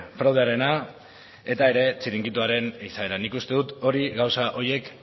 fraudearena eta txiringitoaren izaera nik uste dut gauza horiek